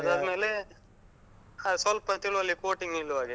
ಅದಾದ್ಮೇಲೆ, ಸ್ವಲ್ಪ ತೇಳುವಲ್ಲಿ coating ನಿಲ್ಲುವ ಹಾಗೆ.